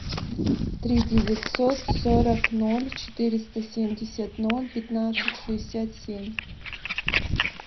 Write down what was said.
три девятьсот сорок ноль четыреста семьдесят ноль пятнадцать шестьдесят семь